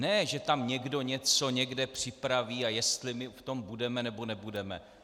Ne že tam někdo něco někde připraví, a jestli my v tom budeme, nebo nebudeme.